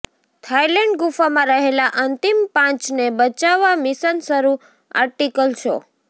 Thailand ગુફામાં રહેલા અંતિમ પાંચને બચાવવા મિશન શરુ આર્ટિકલ શો